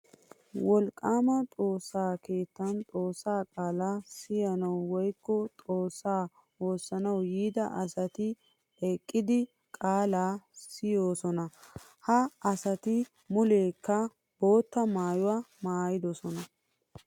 Wolqqama xoosa keettan xoosa qaala siyanawu woykko xoosa woosanawu yiida asatti eqqiddi qaala siyosona. Ha asatti mulekka bootta maayuwa maayiddosona.